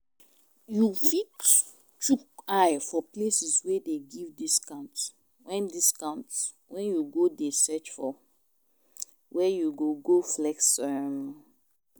You fit chook eye for places wey dey give discount when discount when you dey search for where you go go flex um